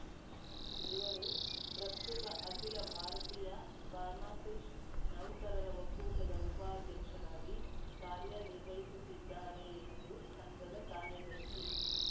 ಇವರು ಪ್ರಸ್ತುತ ಅಖಿಲ ಭಾರತೀಯ ಫಾರ್ಮಾಸಿಸ್ಟ್‌ ನೌಕರರ ಒಕ್ಕೂಟದ ಉಪಾಧ್ಯಕ್ಷರಾಗಿ ಕಾರ್ಯನಿರ್ವಹಿಸುತ್ತಿದ್ದಾರೆ ಎಂದು ಸಂಘದ ಕಾರ್ಯದರ್ಶಿ